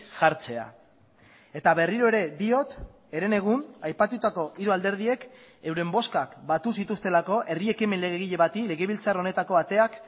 jartzea eta berriro ere diot herenegun aipatutako hiru alderdiek euren bozkak batu zituztelako herri ekimen legegile bati legebiltzar honetako ateak